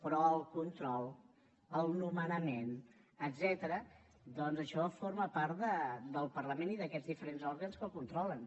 però el control el nomenament etcètera doncs això forma part del parlament i d’aquests diferents òrgans que el controlen